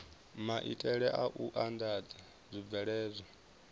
maitele a u andadza zwibveledzwa